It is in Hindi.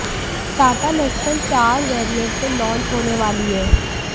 टाटा नेक्सन चार वैरिएंट में लॉन्च होने वाली है